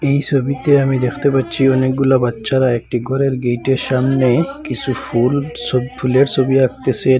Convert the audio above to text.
এই ছবিতে আমি দেখতে পাচ্ছি অনেকগুলা বাচ্চারা একটি ঘরের গেইটের সামনে কিছু ফুল ছ-ফুলের ছবি আঁকতেছেন।